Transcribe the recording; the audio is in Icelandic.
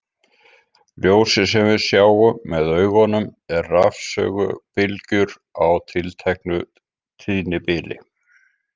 Ljósið sem við sjáum með augunum er rafsegulbylgjur á tilteknu tíðnibili.